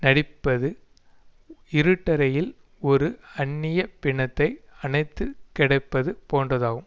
நடிப்பது இருட்டறையில் ஓரு அந்நிய பிணத்தை அணைத்து கிடப்பது போன்றதாகும்